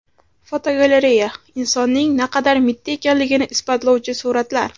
Fotogalereya: Insonning naqadar mitti ekanligini isbotlovchi suratlar.